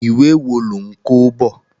Ìwé wo lò ń kó bọ̀?